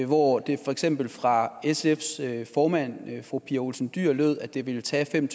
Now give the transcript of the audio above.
hvor det for eksempel fra sfs formand fru pia olsen dyhr lød at det ville tage fem